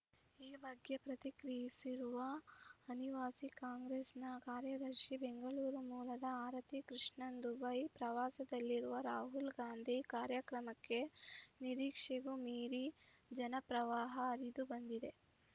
ಈ ಬಗ್ಗೆ ಪ್ರತಿಕ್ರಿಯಿಸಿರುವ ಅನಿವಾಸಿ ಕಾಂಗ್ರೆಸ್‌ನ ಕಾರ್ಯದರ್ಶಿ ಬೆಂಗಳೂರು ಮೂಲದ ಆರತಿ ಕೃಷ್ಣನ್‌ ದುಬೈ ಪ್ರವಾಸದಲ್ಲಿರುವ ರಾಹುಲ್‌ ಗಾಂಧಿ ಕಾರ್ಯಕ್ರಮಕ್ಕೆ ನಿರೀಕ್ಷೆಗೂ ಮೀರಿ ಜನ ಪ್ರವಾಹ ಹರಿದುಬಂದಿದೆ